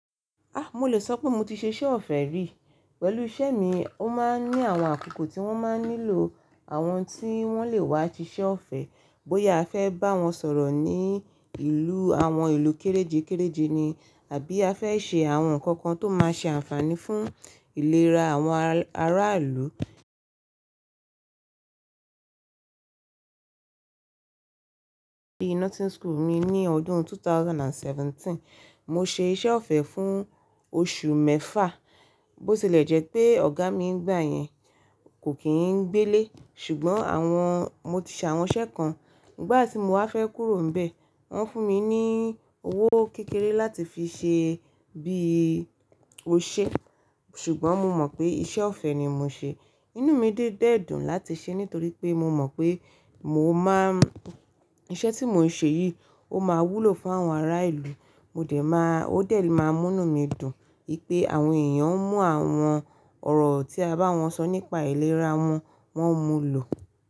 A! Mo lè sọ pé mo ti ṣe iṣẹ́ ọ̀fẹ́ rí. Pẹ̀lú iṣẹ́ mi, ó máa ń ní àwọn àkókò tí wọ́n máa ń nílò àwọn tí wọ́n lè wá ṣiṣẹ́ ọ̀fẹ́ bóyá a fẹ́ bá wọn sọ̀rọ̀ ní i ìlú àwọn ìlú kérejé kereje ni àbí a fẹ́ ṣe àwọn nǹkan kan tó máa ṣe àǹfààní fún ìlera àwọn ara, aráàlú. Bi Nothing School mi ní ọdún two thousand and seventeen, mo ṣe iṣẹ́ ọ̀fẹ́ fún oṣù mẹ́fa, bó ti lẹ̀ jẹ́ pé ọ̀gá mi n gbà yẹn kò kí n gbé lé, ṣùgbọ́n àwọn-- mo ti ṣàwọn iṣẹ́ kan. N gbà tí mo wá fẹ́ kúrò n bẹ̀, wọ́n fún mi ní owó kékeré láti fi ṣe bí ó ṣe, ṣùgbọ́n mo mọ̀ pé iṣẹ́ ọ̀fẹ́ ni mò ṣe. Inú mi dé dẹ́ dùn láti ṣe nítorí pé mo mọ̀ pé mo máa ń-- iṣẹ́ tí mò ń ṣe yìí ó máa wúlò fún àwọn ará ìlú. Mo dẹ̀ máa-- ó dẹ̀ le máa mú nú mi dùn i pé àwọn èèyàn ń mú àwọn ọ̀rọ̀ tí a bá wọn sọ nípa ìlera wọn, wọ́n ń mu lò.